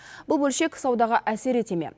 бұл бөлшек саудаға әсер ете ме